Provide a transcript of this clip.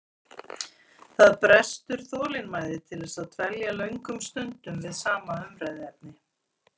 Það brestur þolinmæði til þess að dvelja löngum stundum við sama umræðuefni.